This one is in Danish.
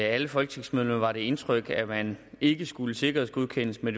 alle folketingsmedlemmer var indtrykket at man ikke skulle sikkerhedsgodkendes men